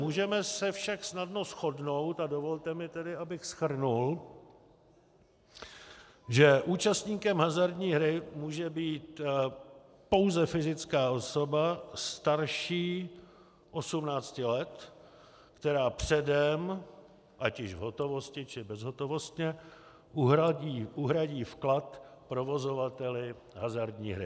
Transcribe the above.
Můžeme se však snadno shodnout a dovolte mi tedy, abych shrnul, že účastníkem hazardní hry může být pouze fyzická osoba starší 18 let, která předem ať již v hotovosti, či bezhotovostně uhradí vklad provozovateli hazardní hry.